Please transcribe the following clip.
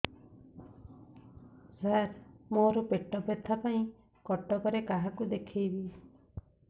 ସାର ମୋ ର ପେଟ ବ୍ୟଥା ପାଇଁ କଟକରେ କାହାକୁ ଦେଖେଇବି